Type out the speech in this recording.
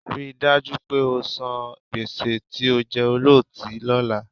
Rí i dájú pé o san gbèsè tí o jẹ ọlọ́tí lọ́la